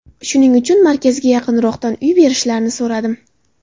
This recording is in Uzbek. Shuning uchun markazga yaqinroqdan uy berishlarini so‘radim.